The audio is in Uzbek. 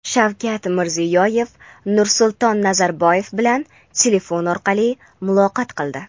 Shavkat Mirziyoyev Nursulton Nazarboyev bilan telefon orqali muloqot qildi.